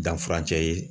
Danfancɛ ye